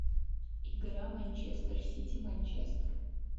игра манчестер сити манчестер